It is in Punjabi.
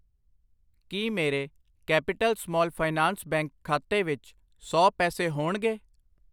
ਕਿ ਮੇਰੇ ਕੈਪੀਟਲ ਸਮਾਲ ਫਾਈਨਾਂਸ ਬੈਂਕ ਖਾਤੇ ਵਿੱਚ ਸੌ ਪੈਸੇ ਹੋਣਗੇ ?